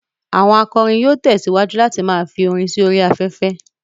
Àwọn akọrin yóò tẹ̀síwájú láti ma fi orin sí orí afẹ́fẹ́